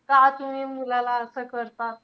का तुम्ही मुलाला असं करतात?